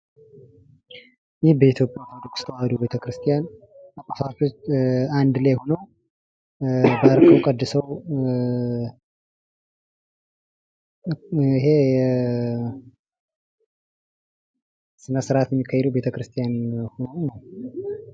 ይህ በኢትዮጵያ ተዋህዶ ቤተ-ክርስቲያን ጳጳሳቶች አንድ ላይ ሁነው ባርከው ቀድሰው ይሄ ስነ-ስርዓት የሚካሄደው ቤተ-ክርስቲያን መሆኑን ነው።